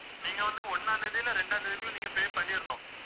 நீங்க வந்து ஒண்ணாம் தேதி இல்ல இரண்டாம் தேதிக்குள்ள நீங்க pay பண்ணிறணும்